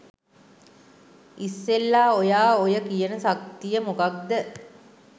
ඉස්සෙල්ලා ඔයා ඔය කියන ශක්තිය මොකක්ද